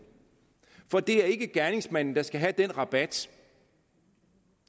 for det er ikke gerningsmanden der skal have den rabat